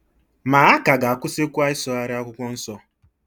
Ma a ka ga-akwụsịkwa ịsụgharị Akwụkwọ Nsọ.